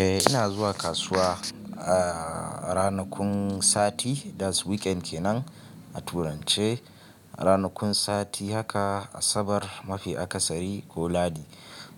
Eh ina zuwa kasuwa a ranakun sati that's weekend kenan a turance, ranakun sati haka asabar, mafi akasari ko lahadi.